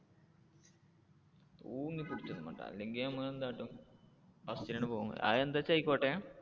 തൂങ്ങി പിടിച്ചൊന്നും വേണ്ട അല്ലെങ്കിൽ നമ്മള് എന്ത് കാട്ടും first നു തന്നെ പോകും അത് എന്താച്ചാ ആയിക്കോട്ടെ.